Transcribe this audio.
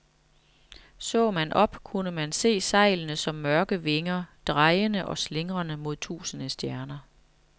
Så man op, kunne man se sejlene som mørke vinger, drejende og slingrende mod tusinde stjerner.